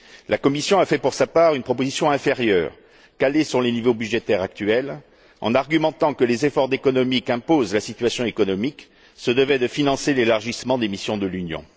La Commission a fait, pour sa part, une proposition inférieure, fondée sur les niveaux budgétaires actuels, en argumentant que les efforts d'économies qu'impose la situation économique se devaient de financer l'élargissement des missions de l'Union.